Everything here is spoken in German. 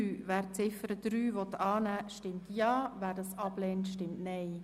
Wer diese annehmen will, stimmt Ja, wer diese ablehnt, stimmt Nein.